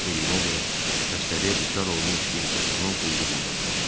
Dediyinə görə xəstəliyə düçar olmuş bir qocanın qulluğunda dururmuş.